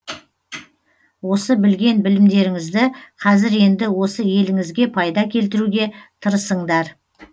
осы білген білімдеріңізді кәзір енді осы еліңізге пайда келтіруге тырысыңдар